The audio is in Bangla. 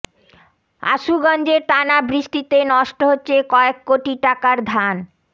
আশুগঞ্জে টানা বৃষ্টিতে নষ্ট হচ্ছে কয়েক কোটি টাকার ধান